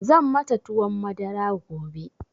Zan mata tuwon madara gobe.